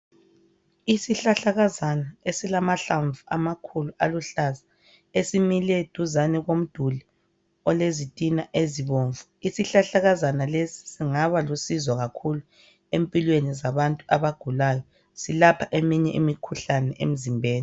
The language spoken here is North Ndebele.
Isihlahlakazana esilamahlamvu amakhulu aluhlaza, esimile duzane komduli olezitina ezibomvu. Isihlahlakazana lesi singaba lusizo kakhulu empilweni zabantu abagulayo, silapha eminye imikhuhlane emzimbeni.